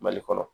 Mali kɔnɔ